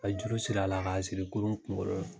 A ye juru siri a la, ka siri kurun kunkolo la.